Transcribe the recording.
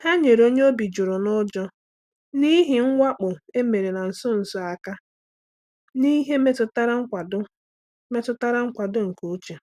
Ha nyere onye obi juru n’ụjọ n’ihi mwakpo e mere na nso nso a aka n’ihe metụtara nkwado metụtara nkwado nke uche.